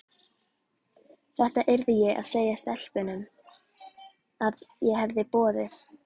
Þetta yrði ég að segja stelpunum, að ég hefði boðið